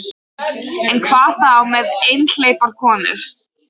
En hvað þá með einhleypar konur?